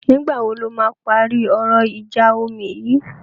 Nìgbà wo lọ́ máa parí ọ̀rọ̀ ìjà omi yìí?